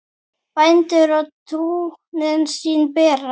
Bændur á túnin sín bera.